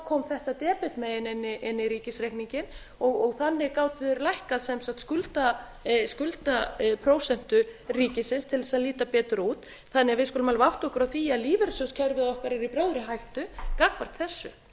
kom þetta debetmegin inn í ríkisreikninginn og þannig gátu þeir lækkað sem sagt skuldaprósentu ríkisins til þess að líta betur út við skulum því alveg átta okkur á því að lífeyrissjóðakerfi okkar er í bráðri hættu gagnvart þessu